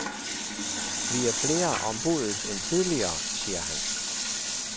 Vi er flere om budet end tidligere, siger han.